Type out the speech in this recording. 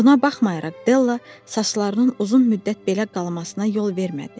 Buna baxmayaraq, Della saçlarının uzun müddət belə qalmasına yol vermədi.